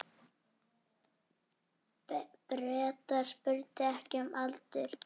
Bretar spurðu ekki um aldur.